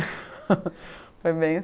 foi bem